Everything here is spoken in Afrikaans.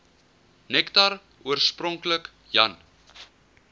nektar oorspronklik jan